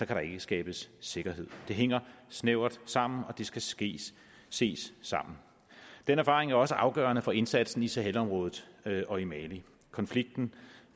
der ikke skabes sikkerhed det hænger snævert sammen og det skal skal ses sammen den erfaring er jo også afgørende for indsatsen i sahel området og i mali konflikten